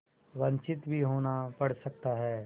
वंचित भी होना पड़ सकता है